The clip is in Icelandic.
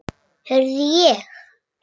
Heyrði ég rétt.